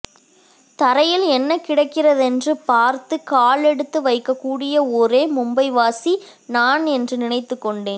தரையில் என்ன கிடக்கிறதென்று பார்த்துக்காலெடுத்துவைக்கக்கூடிய ஒரே மும்பைவாசி நான் என்று நினைத்துக்கொண்டேன்